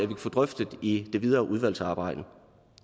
kan få drøftet i det videre udvalgsarbejde